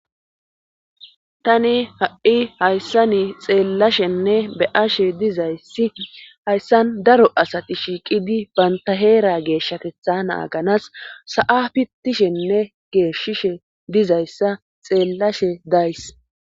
tani ha'i hayssa ni xeellashenne be ashe dizayssi hayssan daro asati shiiqidi banta heera geeshshatetha naaganas sa7a pittishenne geeshishe dizayssa xeellashe days